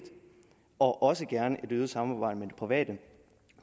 og også gerne et øget samarbejde med det private